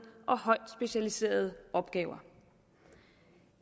og højt specialiserede opgaver